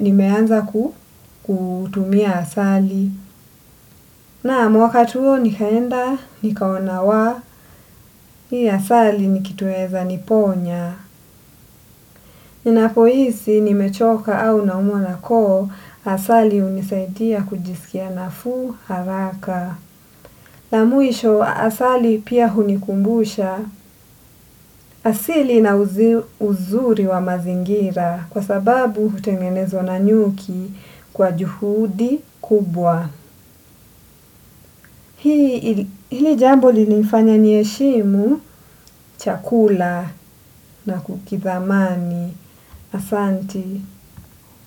nimeanza kutumia asali. Nam wakati huo nikaenda, nikaona wa, hii asali ni kitu inaeza, niponya. Ninapohisi nimechoka au naumwa na koo asali hunisaidia kujisikia nafuu haraka. Na mwisho asali pia hunikumbusha asili na uzuri wa mazingira kwa sababu hutengenezwa na nyuki kwa juhudi kubwa. Hili jambo lilinifanya niheshimu chakula na kukithamani asanti.